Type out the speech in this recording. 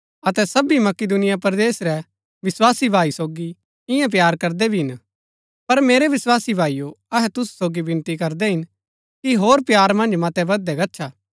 अतै सबी मकिदुनिया परदेस रै विस्वासी भाई सोगी ईयां प्‍यार करदै भी हिन पर मेरै विस्वासी भाईओ अहै तुसु सोगी विनती करदै हिन कि होर प्‍यार मन्ज मतै बधदै गच्छा